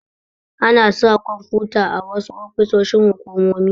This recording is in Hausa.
Ana sa kwamfuta a wasu ofisoshi hukumomi.